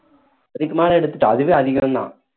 அதுக்கு மேல எடுத்துட்டு அதுவே அதிகம் தான்